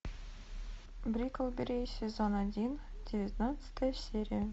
бриклберри сезон один девятнадцатая серия